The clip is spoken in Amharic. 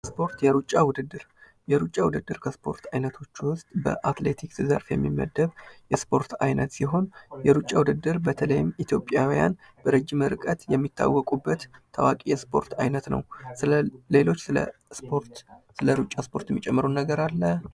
ስፖርት የሩጫ ውድድር የሩጫ ውድድር ከስፖርት አይነቶች ውስጥ በአትሌቲክስ ዘርፍ የሚመደብ የስፖርት ዓይነት ሲሆን የሩጫ ውድድር በተለይም ኢትዮጵያውያን በረጅም ርቀት የሚታወቁበት ታዋቂ የስፖርት አይነት ነው። ስለሌሎች ስለ እስፖርት ስለሩጫ ስፖርት የሚጨምሩት አለ?